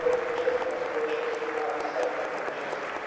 účastnit na společnosti a aby se aktivně účastnili.